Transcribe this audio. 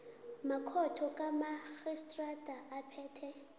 makhotho kamarhistrada aphethe